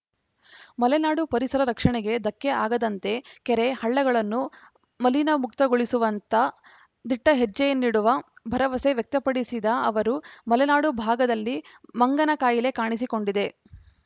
ಮಲೆನಾಡು ಪರಿಸರ ರಕ್ಷಣೆಗೆ ಧಕ್ಕೆ ಆಗದಂತೆ ಕೆರೆ ಹಳ್ಳಗಳನ್ನು ಮಲಿನಮುಕ್ತಗೊಳಿಸುವತ್ತ ದಿಟ್ಟಹೆಜ್ಜೆಯನ್ನಿಡುವ ಭರವಸೆ ವ್ಯಕ್ತಪಡಿಸಿದ ಅವರು ಮಲೆನಾಡು ಭಾಗದಲ್ಲಿ ಮಂಗನ ಕಾಯಿಲೆ ಕಾಣಿಸಿಕೊಂಡಿದೆ